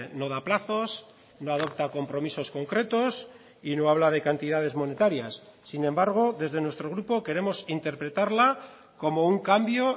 no da plazos no adopta compromisos concretos y no habla de cantidades monetarias sin embargo desde nuestro grupo queremos interpretarla como un cambio